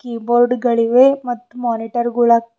key board ಗಳಿವೆ ಮತ್ತು monitor ಗುಳ--